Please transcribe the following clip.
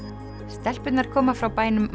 stelpurnar koma frá bænum